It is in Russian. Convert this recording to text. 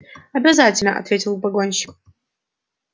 обязательно ответил погонщик